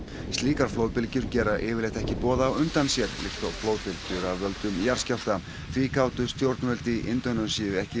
slíkar flóðbylgjur gera yfirleitt ekki boð á undan sér líkt og flóðbylgjur af völdum jarðskjálfta því gátu stjórnvöl d í Indónesíu ekki